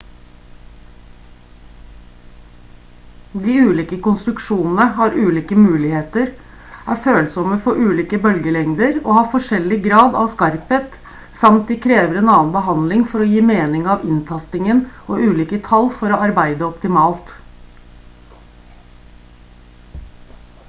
de ulike konstruksjonene har ulike muligheter er følsomme for ulike bølgelengder og har forskjellig grad av skarphet samt de krever annen behandling for å gi mening av inntastingen og ulike tall for å arbeide optimalt